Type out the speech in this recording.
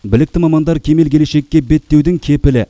білікті мамандар кемел келешекке беттеудің кепілі